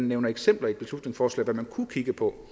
nævnes eksempler i beslutningsforslaget man kunne kigge på